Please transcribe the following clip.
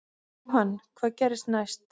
Jóhann: Hvað gerist næst?